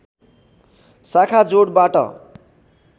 शाखा जोडबाट